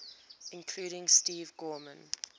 including steve gorman